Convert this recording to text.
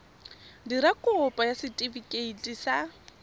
dira kopo ya setefikeiti sa